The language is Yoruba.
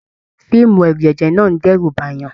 Fíìmù ẹrujẹjẹ náà n d'ẹru b'ayan.